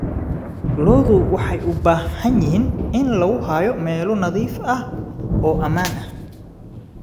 Lo'du waxay u baahan yihiin in lagu hayo meelo nadiif ah oo ammaan ah.